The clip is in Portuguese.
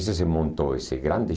E aí se montou esse grande